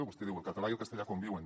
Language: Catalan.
vostè diu el català i el castellà conviuen